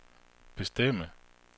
bestemme